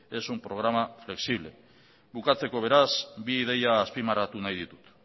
es un programa flexible bukatzeko beraz bi ideia azpimarratu nahi ditut